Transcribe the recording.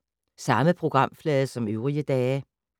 Samme programflade som øvrige dage